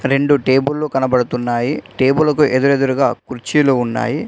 రెండు టేబుల్లు కనబడుతున్నాయి టేబులు కు ఎదురెదురుగా కుర్చీలు ఉన్నాయి.